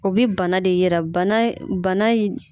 O bɛ bana de yira bana bana in